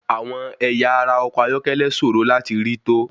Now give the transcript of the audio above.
Àwọn ẹ̀yà ara ọkọ̀ ayọ́kẹ́lẹ́ sòro láti rí to.